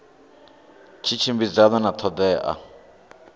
tshi tshimbidzana na ṱho ḓea